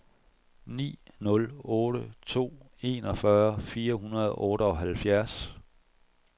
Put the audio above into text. ni nul otte to enogfyrre fire hundrede og otteoghalvfjerds